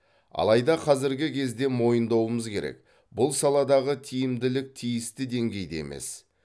алайда қазіргі кезде мойындауымыз керек бұл саладағы тиімділік тиісті деңгейде емес